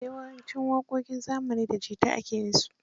Yawancin waƙoƙin zamani da jita ake yinsu.